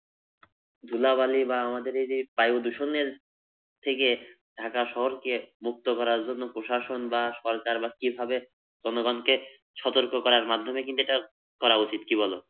ধুলাবালি বা আমাদের এই যে বায়ু দূষণের থেকে ঢাকা শহরকে মুক্ত করার জন্য প্রশাসন বা সরকার বা কিভাবে জনগনকে সতর্ক করার মাধ্যমে কিন্তু এটা করা উচিত কি বল?